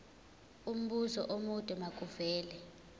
umbuzo omude makuvele